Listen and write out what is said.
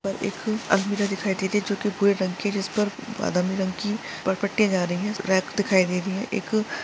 एक एक अलमीरा दिखाई दे रही हैं जो की भूरे रंग हैं जिसपे बादामी रंग की पर पट्टियां जा रही हैं रैक दिखाई दे रही हैं एक--